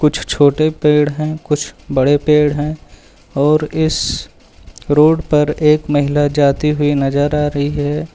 छो छोटे पेड़ है कुछ बड़े पेड़ है और इस रोड पर एक महिला जाती हुई नजर आ रही है।